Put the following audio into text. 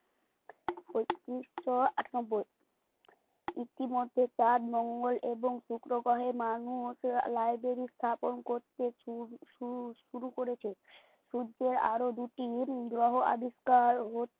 পঁয়ত্রিশশো আঠান্নব্বই ইতিমধ্যে চাঁদ মঙ্গল এবং শুক্র গ্রহে মানুষ library স্থাপন করতে শূর শূর শুরু করেছে। সূর্যে আরো দুটি গ্রহ আবিষ্কার হতে